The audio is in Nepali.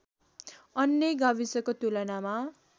अन्य गाविसको तुलनामा